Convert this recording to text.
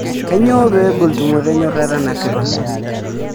Kainyoo pee egol tumoto enyorrata nasipa?